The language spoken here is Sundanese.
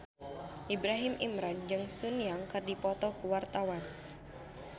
Ibrahim Imran jeung Sun Yang keur dipoto ku wartawan